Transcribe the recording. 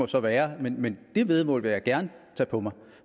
så være men det væddemål vil jeg gerne tage på mig